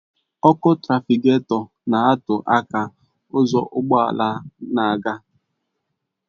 Ọkụ trafịgatọ na-atụ aka ụzọ ụgbọ ala na-aga